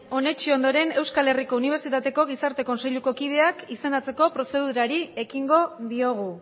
onetsi ondoren euskal herriko unibertsitateko gizarte kontseiluko kideak izendatzeko prozedurari ekingo diogu